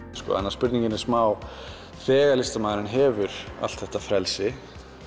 spurningin er smá þegar listamaðurinn hefur allt þetta frelsi